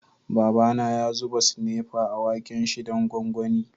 Baba na ya zuba sinepa a waken' shi dan gwangwani.